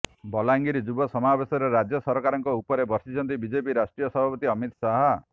ବଲାଙ୍ଗିର ଯୁବ ସମାବେଶରେ ରାଜ୍ୟ ସରକାରଙ୍କ ଉପରେ ବର୍ଷିଛନ୍ତି ବିଜେପି ରାଷ୍ଟ୍ରୀୟ ସଭାପତି ଅମିତ ଶାହା